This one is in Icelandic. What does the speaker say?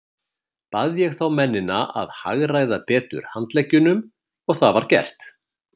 Bað ég þá mennina að hagræða betur handleggjunum, og var það gert.